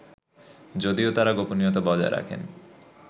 যদিও তারা গোপনীয়তা বজায় রাখেন